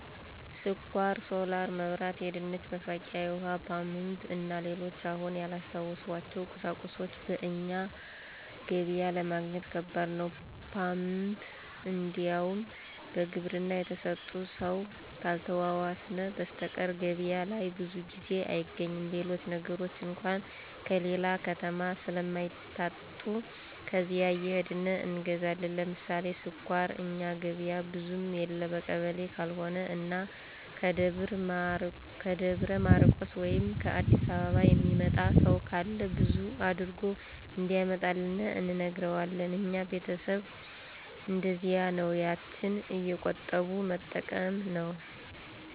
ስኳር፣ ሶላር መብራት፣ የድንች መፋቂያ፣ የውሀ ፓምፕ እና ሌሎችም አሁን ያላስታወስኋቸው ቁሳቁሶች በእኛ ገበያ ለማግኘት ከባድ ነው። ፓምፕ እንዲያውም በግብርና የተሰጠ ሰው ካልተዋዋስን በሰተቀር ገበያ ላይ ብዙ ጊዜ አይገኝም። ሌሎች ነገሮች አንኳ ከሌላ ከተማ ስለማይታጡ ከዚያ እየሄድን እንገዛለን። ለምሳሌ ስኳር እኛ ገበያ ብዙም የለ በቀበሌ ካልሆነ እና ከደብረ ማርቆስ ወይም ከ አዲስ አበባ የሚመጣ ሰው ካለ በዛ አድርጎ እንዲያመጣልን እንነግረዋለን። እኛ ቤተሰብ እነደዚያ ነው ያችን እየቆጠቡ መጠቀም ነው።